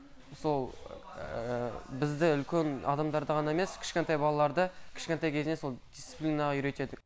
сол бізді үлкен адамдарды ғана емес кішкентай балаларды кішкентай кезінен сол дисциплинаға үйретеді